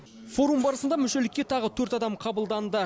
форум барысында мүшелікке тағы төрт адам қабылданды